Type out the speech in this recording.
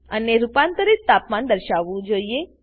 અને રૂપાંતરિત તાપમાન દર્શાવવું જોઈએ